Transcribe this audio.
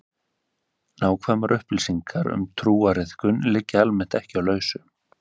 Nákvæmar upplýsingar um trúariðkun liggja almennt ekki á lausu.